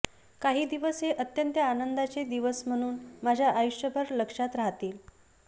काही दिवस हे अत्यंत आनंदाचे दिवस म्हणून माझ्या आयुष्यभर लक्षात राहतील